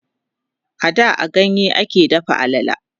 a da a ganye a ke dafa alala